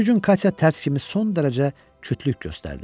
O gün Katya tərs kimi son dərəcə kütlük göstərdi.